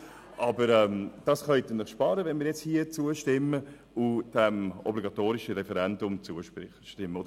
Aber das können Sie sich sparen, wenn wir diesem obligatorischen Referendum hier und jetzt zustimmen.